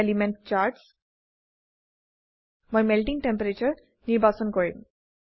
element charts মই melting টেম্পাৰাটোৰে নিৰ্বাচন কৰিম